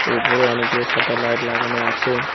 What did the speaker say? উপরে অনেকগুলো সাদা লাইট লাগানো আছে।